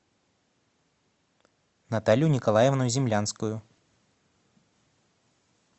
наталью николаевну землянскую